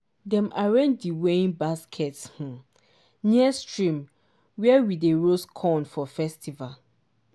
dem arrange di weighing basket um near stream where we dey roast corn for festival.